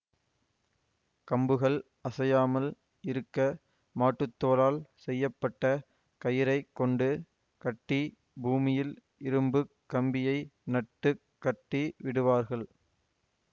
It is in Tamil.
கம்புகள் அசையாமல் இருக்க மாட்டுத்தோலால் செய்ய பட்ட கயிறைக் கொண்டு கட்டி பூமியில் இரும்பு கம்பியை நட்டுக் கட்டி விடுவார்கள்